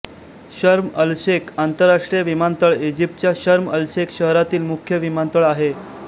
शर्म अलशेख आंतरराष्ट्रीय विमानतळ इजिप्तच्या शर्म अलशेख शहरातील मुख्य विमानतळ आहे